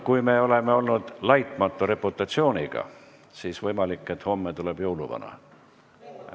Kui me oleme olnud laitmatu reputatsiooniga, siis võimalik, et homme tuleb jõuluvana.